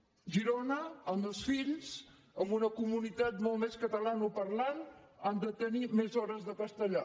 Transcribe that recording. a girona els meus fills amb una comunitat molt més catalanoparlant han de tenir més hores de castellà